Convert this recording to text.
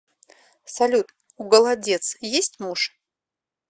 салют у голодец есть муж